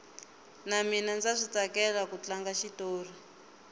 na mina ndza switsakela ku tlanga xitori